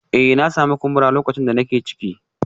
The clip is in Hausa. Eh na sami kumbura lokacin da nake ciki